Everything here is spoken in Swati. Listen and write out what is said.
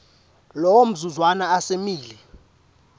lowo mzuzwana asemile